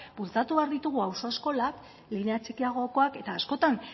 bultzatu behar ditugu auzo eskolak linea txikiagokoak eta askotan